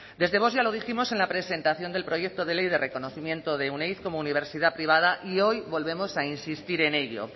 desde vox ya lo dijimos en la presentación del proyecto de ley de reconocimiento de euneiz como universidad privada y hoy volvemos a insistir en ello